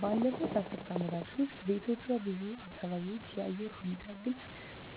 ባለፉት አስርት ዓመታት ውስጥ በኢትዮጵያ ብዙ አካባቢዎች የአየር ሁኔታ ግልጽ